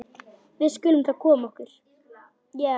Við skulum þá koma okkur.